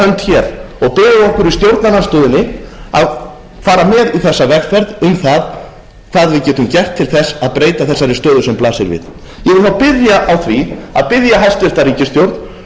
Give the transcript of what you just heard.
í stjórnarandstöðunni að fara með í þessa vegferð um það hvað við getum gert til þess að breyta þessari stöðu sem blasir við ég vil þá byrja á því að biðja hæstvirt ríkisstjórn um að horfa